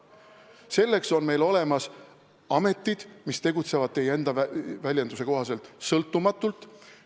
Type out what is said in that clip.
Selleks on olemas ametid, kes tegutsevad teie enda väljenduse kohaselt sõltumatult.